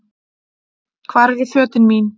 Hvar eru fötin mín?